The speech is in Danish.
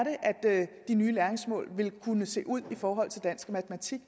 de nye læringsmål vil kunne se ud for dansk og matematik